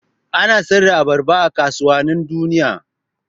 Ana sayar da abarba a kasuwannin duniya.